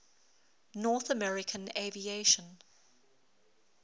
north american aviation